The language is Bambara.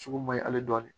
Sugu ma ɲi ale dɔɔnin